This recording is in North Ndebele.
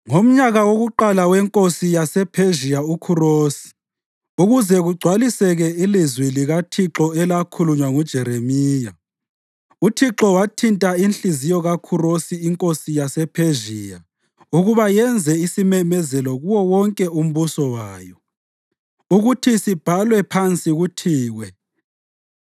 Ngomnyaka wakuqala wenkosi yasePhezhiya uKhurosi, ukuze kugcwaliseke ilizwi likaThixo elakhulunywa nguJeremiya, uThixo wathinta inhliziyo kaKhurosi inkosi yasePhezhiya ukuba yenze isimemezelo kuwo wonke umbuso wayo, ukuthi sibhalwe phansi kuthiwe: